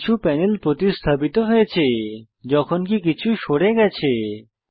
কিছু প্যানেল প্রতিস্থাপিত হয়েছে যখনকি কিছু সরে গেছে